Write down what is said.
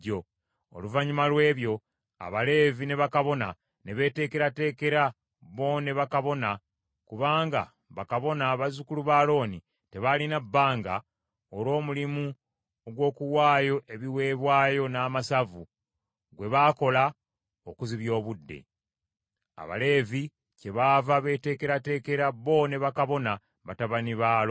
Oluvannyuma lw’ebyo Abaleevi ne bakabona ne beeteekerateekera bo ne bakabona kubanga bakabona bazzukulu ba Alooni tebaalina bbanga olw’omulimu ogw’okuwaayo ebiweebwayo n’amasavu gwe baakola okuzibya obudde. Abaleevi kyebaava beeteekerateekera bo ne bakabona batabani ba Alooni.